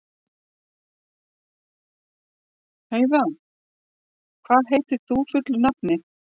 Heida, hvað heitir þú fullu nafni?